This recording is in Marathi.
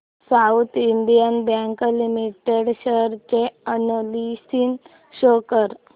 south Indian bank limited share analysis show कर